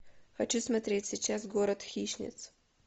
хочу смотреть сейчас город хищниц